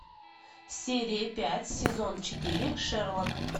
серия пять сезон четыре шерлок